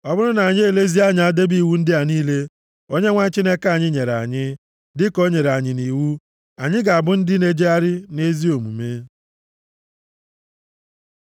Ọ bụrụ na anyị elezie anya debe iwu ndị a niile Onyenwe anyị Chineke anyị nyere anyị, dịka o nyere anyị nʼiwu, anyị ga-abụ ndị na-ejegharị nʼezi omume.”